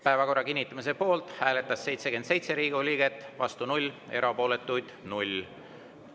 Päevakorra kinnitamise poolt hääletas 77 Riigikogu liiget, vastu oli 0, erapooletuid 0.